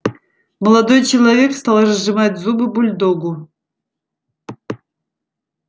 молодой человек стал разжимать зубы бульдогу